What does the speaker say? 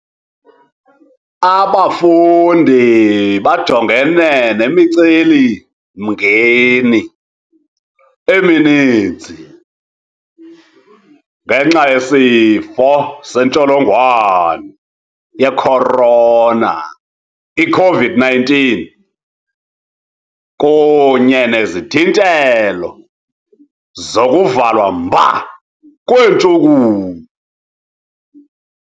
Abafundi bajongene nemiceli-mngeni emininzi ngenxa yeSifo seNtsholongwane ye-Corona, i -COVID-19, kunye nezithintelo zokuvalwa mba kweentshukumo.